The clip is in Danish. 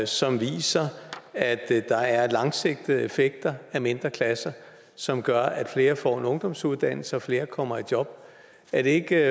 som viser at der er langsigtede effekter af mindre klasser som gør at flere får en ungdomsuddannelse og at flere kommer i job er det ikke